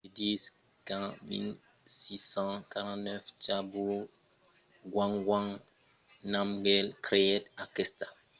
se ditz qu’en 1649 zhabdrung ngawang namgyel creèt aquesta fortalesa per commemorar sa victòria contra las fòrças tibetanas e mongòlas